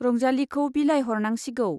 रंजालीखौ बिलाइहरनांसिगौ।